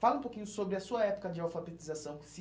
Fala um pouquinho sobre a sua época de alfabetização.